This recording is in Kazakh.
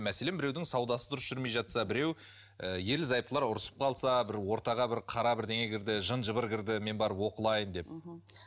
мәселен біреудің саудасы дұрыс жүрмей жатса біреу ы ерлі зайыптылар ұрсысып қалса бір ортаға бір қара бірдеңе кірді жын жыбыр кірді мен барып оқылайын деп мхм